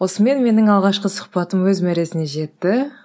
осымен менің алғашқы сұхбатым өз мәресіне жетті